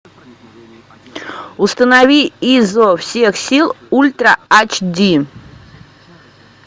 установи изо всех сил ультра ач ди